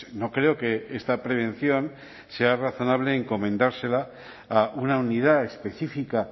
no creo que esta prevención sea razonable encomendársela a una unidad específica